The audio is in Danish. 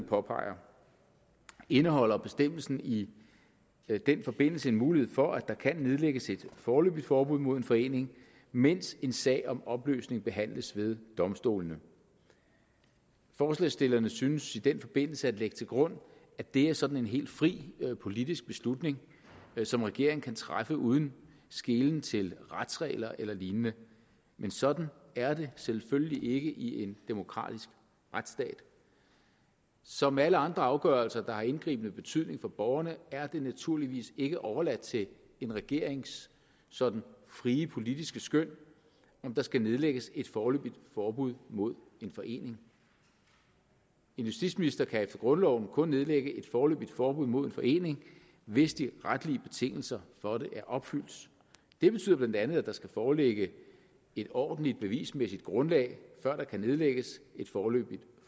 påpeger indeholder bestemmelsen i den forbindelse en mulighed for at der kan nedlægges et foreløbigt forbud mod en forening mens en sag om opløsning behandles ved domstolene forslagsstillerne synes i den forbindelse at lægge til grund at det er sådan en helt fri politisk beslutning som regeringen kan træffe uden skelen til retsregler eller lignende men sådan er det selvfølgelig ikke i en demokratisk retsstat som ved alle andre afgørelser der har indgribende betydning for borgerne er det naturligvis ikke overladt til en regerings sådan frie politiske skøn om der skal nedlægges et foreløbigt forbud mod en forening en justitsminister kan efter grundloven kun nedlægge et foreløbigt forbud mod en forening hvis de retlige betingelser for det er opfyldt det betyder bla at der skal foreligge et ordentligt bevismæssigt grundlag før der kan nedlægges et foreløbigt